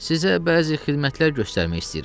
Sizə bəzi xidmətlər göstərmək istəyirəm.